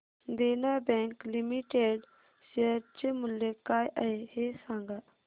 देना bank limited share चे मूल्य काय आहे हे सांगा